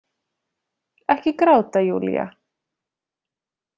Ekki gráta, Júlía.